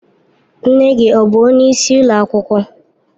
Nne gi ọ bu onye isi ụlọ akwụkwọ?